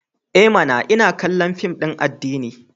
I mana! Ina kallon fim din addini.